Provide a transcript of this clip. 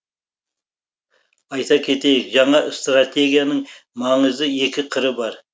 айта кетейік жаңа стратегияның маңызды екі қыры бар